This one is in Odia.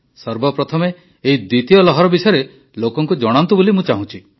ସର୍ବପ୍ରଥମେ ଏହି ଦ୍ୱିତୀୟ ଲହର ବିଷୟରେ ଲୋକଙ୍କୁ ଜଣାନ୍ତୁ ବୋଲି ମୁଁ ଚାହୁଁଛି